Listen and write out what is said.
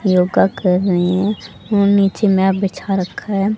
योगा कर रहे है और नीचे मै बिछा रखा है।